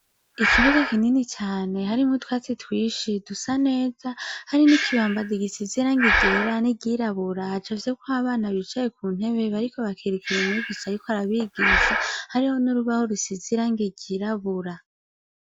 Ikibuga kinini cane harimwo utwatsi twinshi dusa neza, hari n'ikibambazi gisize irangi ryera n'iryirabura hacafyeko abana bicaye ku ntebe, bariko bakurikira umwigisha ariko arabigisha; hariho n'urubaho rusize irangi ryirabura.